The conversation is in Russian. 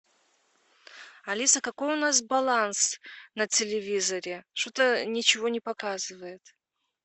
алиса какой у нас баланс на телевизоре что то ничего не показывает